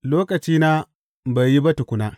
Lokacina bai yi ba tukuna.